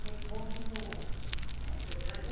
que continuou, né. Verdade.